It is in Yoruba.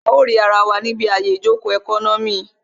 A ó rì ara wa níbi àyè ìjòkó ẹkọ́nọ́mì